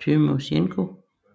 Tymosjenko